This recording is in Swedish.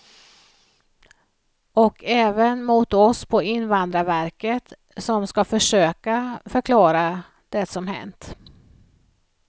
Och även mot oss på invandrarverket som ska försöka förklara det som hänt.